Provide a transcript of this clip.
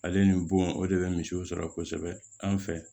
Ale ni bon o de bɛ misiw sɔrɔ kosɛbɛ an fɛ